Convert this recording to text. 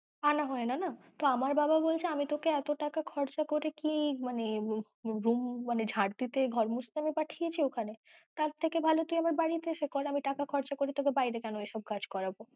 আনা হয়না না, তো আমার বাবা বলছে আমি তোকে এতো টাকা খরচা করে আমি কি ঝাড় দিতে ঘর মুছতে আমি পাঠিয়েছি ওখানে, তার থেকে ভালো তুই আমার বাড়িতে এসে কর আমি টাকা খরচা করে তোকে বায়েরে কেন এসব কাজ করাবো